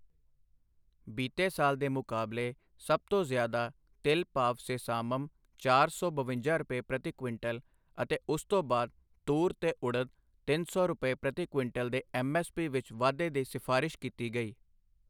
ਬੀਤੇ ਸਾਲ ਦੇ ਮੁਕਾਬਲੇ ਸਭ ਤੋਂ ਜ਼ਿਆਦਾ ਤਿਲ ਭਾਵ ਸੇਸਾਮਮ ਚਾਰ ਸੌ ਬਵੰਜਾ ਰੁਪਏ ਪ੍ਰਤੀ ਕੁਇੰਟਲ ਅਤੇ ਉਸ ਤੋਂ ਬਾਅਦ ਤੂਰ ਤੇ ਉੜਦ ਤਿੰਨ ਸੌ ਰੁਪਏ ਪ੍ਰਤੀ ਕੁਇੰਟਲ ਦੇ ਐੱਮਐੱਸਪੀ ਵਿੱਚ ਵਾਧੇ ਦੀ ਸਿਫ਼ਾਰਸ਼ ਕੀਤੀ ਗਈ।